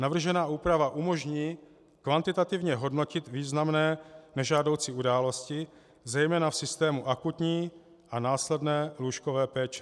Navržená úprava umožní kvantitativně hodnotit významné nežádoucí události, zejména v systému akutní a následné lůžkové péče.